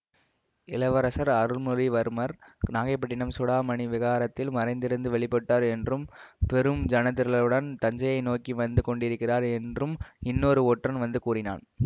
இளவரசர் அருள்மொழிவர்மர் நாகைப்பட்டினம் சூடாமணி விஹாரத்தில் மறைந்திருந்து வெளிப்பட்டார் என்றும் பெரும் ஜனத்திரளுடன் தஞ்சையை நோக்கி வந்து கொண்டிருக்கிறார் என்றும் இன்னொரு ஒற்றன் வந்து கூறினான்